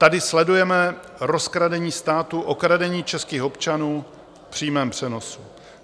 Tady sledujeme rozkradení státu, okradení českých občanů v přímém přenosu.